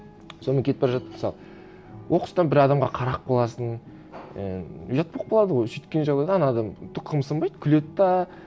сонымен кетіп бара жатып мысалы оқыстан бір адамға қарап қаласың і ұят болып қалады ғой сөйткен жағдайда ана адам түк қымсынбайды күледі де